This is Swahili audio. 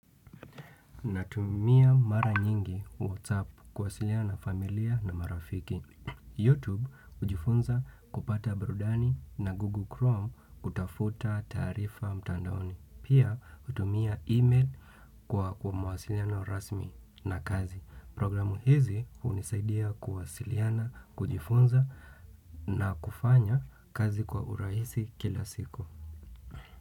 Natumia mara nyingi WhatsApp kuwasiliana na familia na marafiki. YouTube kujifunza kupata burudani na Google Chrome kutafuta taarifa mtandaoni. Pia hutumia email kwa mawasiliano rasmi na kazi. Programu hizi hunisaidia kuwasiliana, kujifunza na kufanya kazi kwa urahisi kila siku.